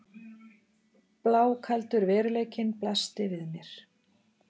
Blákaldur veruleikinn blasti við mér.